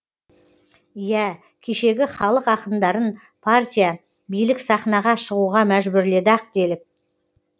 иә кешегі халық ақындарын партия билік сахнаға шығуға мәжбүрледі ақ делік